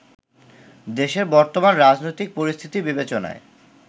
দেশের বর্তমান রাজনৈতিক পরিস্থিতি বিবেচনায়